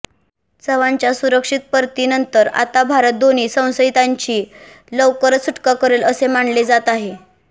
चव्हाणच्या सुरक्षित परतीनंतर आता भारत दोन्ही संशयितांची लवकरच सुटका करेल असे मानले जात आहे